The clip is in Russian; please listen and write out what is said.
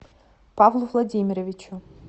павлу владимировичу